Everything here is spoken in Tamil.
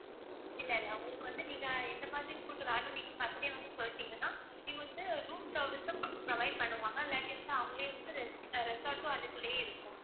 இல்ல இல்ல உங்களுக்கு வந்து நீங்க எந்த மாதிரி food வேணும்னு நீங்க first யே வந்து சொல்லிட்டீங்கன்னா இங்க வந்து room service உம் pro~ provide பண்ணுவாங்க அவங்களே வந்து res~ resort உம் அதுக்குள்ளேயே இருக்கும்